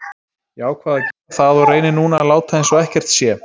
Ég ákvað að gera það og reyni núna að láta eins og ekkert sé.